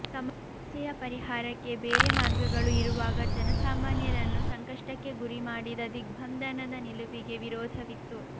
ಸಮಸ್ಯೆಯ ಪರಿಹಾರಕ್ಕೆ ಬೇರೆ ಮಾರ್ಗಗಳು ಇರುವಾಗ ಜನಸಾಮಾನ್ಯರನ್ನು ಸಂಕಷ್ಟಕ್ಕೆ ಗುರಿಮಾಡಿದ ದಿಗ್ಬಂಧನದ ನಿಲುವಿಗೆ ವಿರೋಧವಿತ್ತು